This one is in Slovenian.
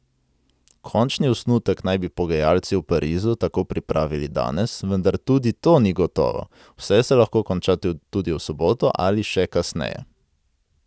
Končni osnutek naj bi pogajalci v Parizu tako pripravili danes, vendar tudi to ni gotovo, vse se lahko konča tudi v soboto ali še kasneje.